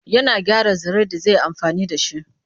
Yana gyara zare da zi yi amfani da shi.